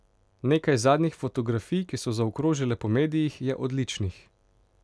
Nekaj zadnjih fotografij, ki so zaokrožile po medijih, je odličnih.